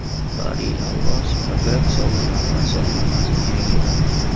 Bari Alibasov operatsiya oldidan vasiyatnomasini yangiladi.